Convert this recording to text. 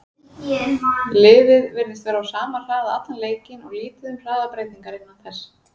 Liðið virtist vera á sama hraða allan leikinn og lítið um hraðabreytingar innan þess.